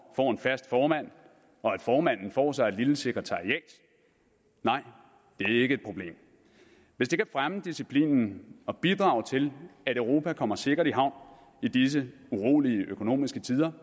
får en fast formand og at formanden får sig et lille sekretariat nej det er ikke et problem hvis det kan fremme disciplinen og bidrage til at europa kommer sikkert i havn i disse urolige økonomiske tider